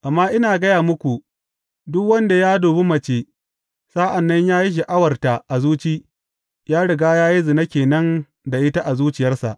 Amma ina gaya muku, duk wanda ya dubi mace, sa’an nan ya yi sha’awarta a zuci, ya riga ya yi zina ke nan da ita a zuciyarsa.